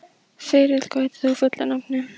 Þyrill, hvað heitir þú fullu nafni?